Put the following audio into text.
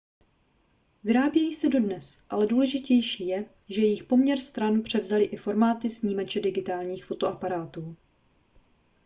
vyrábějí se dodnes ale důležitější je že jejich poměr stran převzaly i formáty snímače digitálních fotoaparátů